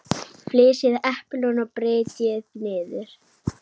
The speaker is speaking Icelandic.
Flysjið eplin og brytjið niður.